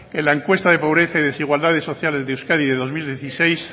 en la encuesta de pobreza y desigualdades sociales de euskadi de dos mil dieciséis